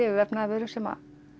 vefnaðarvöru sem